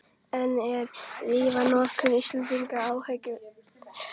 En er lyfjanotkun Íslendinga áhyggjuefni?